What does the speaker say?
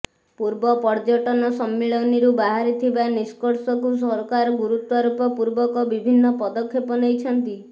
ପୂର୍ବ ପର୍ଯ୍ୟଟନ ସମ୍ମିଳନୀରୁ ବାହାରିଥିବା ନିଷ୍କର୍ସକୁ ସରକାର ଗୁରୁତ୍ବାରୋପ ପୂର୍ବକ ବିଭିନ୍ନ ପଦକ୍ଷେପ ନେଇଛନ୍ତି